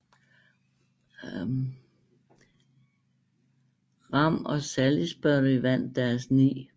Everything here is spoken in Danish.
Ram og Salisbury vandt deres 9